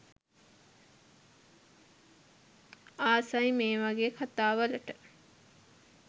ආසයි මේ වගේ කතා වලට